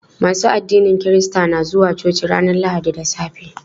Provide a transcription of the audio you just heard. Masu addinin kirista na zuwa coci ranar lahadi da safe.